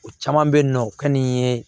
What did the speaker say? O caman bɛ yen nɔ o ka di n ye